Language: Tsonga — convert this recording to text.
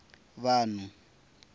vanhu